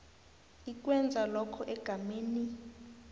ikwenza lokho egameni